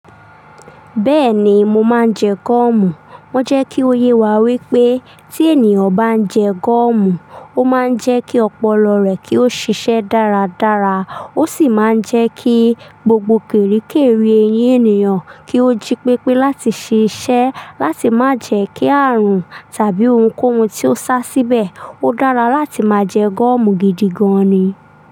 Bẹ́ẹ̀ni, mo máa ń jẹ gọ́ọ̀mù. Wọ́n jẹ́ kí ó yé wa wípé tí ènìyàn bá ń jẹ gọ́ọ̀mù, ó máa ń jẹ́ kí ọpọlọ rẹ̀ kí ó ṣiṣẹ́ dáradára, ó sì máa ń jẹ́ kí gbogbo kerekere eyín ènìyàn kí ó jí pépé láti ṣiṣẹ́ láti máa jẹ́ kí ààrùn tàbí ohunkóhun tí ó sá síbẹ̀. Ó dára láti máa jẹ gọ́ọ̀mù gidi gan ni.